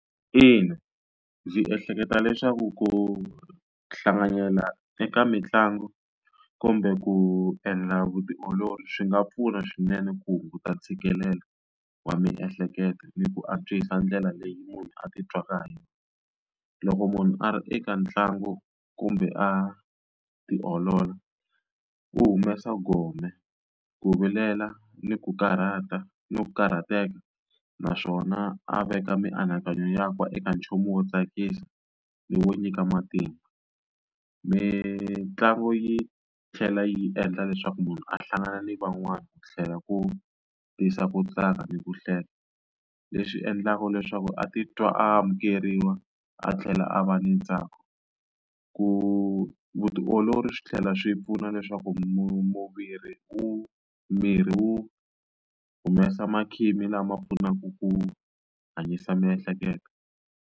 Ina, ndzi ehleketa leswaku ku hlanganyela eka mitlangu kumbe ku endla vutiolori swi nga pfuna swinene ku hunguta ntshikelelo wa miehleketo ni ku antswisa ndlela leyi munhu atitwaka ha yona loko munhu a ri eka ntlangu kumbe a tiolola u humesa gome ku vilela ni ku karhata ni ku karhateka naswona a veka mianakanyo ya ka eka nchumu wo tsakisa ni wo nyika matimba mitlangu yi tlhela yi endla leswaku munhu a hlangana ni van'wana ku tlhela ku tisa ku tsaka ni ku hlela leswi endlaka leswaku a titwa a amukeriwa a tlhela a va ni ntsako ku vutiolori swi tlhela swi pfuna leswaku mutirhi u miri wu humesa makhisimisi lama pfunaka ku hanyisa miehleketo.